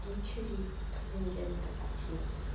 дочери президента путина